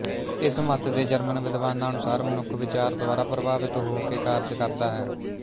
ਇਸ ਮੱਤ ਦੇ ਜਰਮਨ ਵਿਦਵਾਨਾਂ ਅਨੁਸਾਰ ਮਨੁੱਖ ਵਿਚਾਰ ਦੁਆਰਾ ਪ੍ਰਭਾਵਿਤ ਹੋ ਕੇ ਕਾਰਜ ਕਰਦਾ ਹੈ